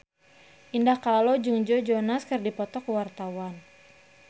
Indah Kalalo jeung Joe Jonas keur dipoto ku wartawan